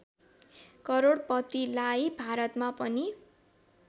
करोडपतिलाई भारतमा पनि